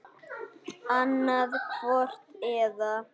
Annað hvort eða.